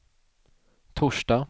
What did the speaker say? torsdag